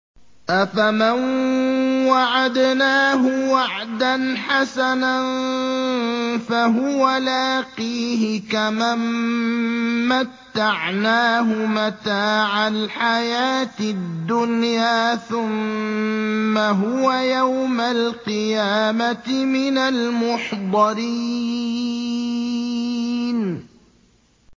أَفَمَن وَعَدْنَاهُ وَعْدًا حَسَنًا فَهُوَ لَاقِيهِ كَمَن مَّتَّعْنَاهُ مَتَاعَ الْحَيَاةِ الدُّنْيَا ثُمَّ هُوَ يَوْمَ الْقِيَامَةِ مِنَ الْمُحْضَرِينَ